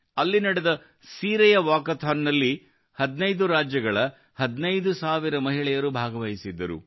ಅಲ್ಲಿ ನಡೆದ ಸೀರೆಯ ವಾಕಥಾನ್ನಲ್ಲಿ 15 ರಾಜ್ಯಗಳ 15000 ಮಹಿಳೆಯರು ಭಾಗವಹಿಸಿದ್ದರು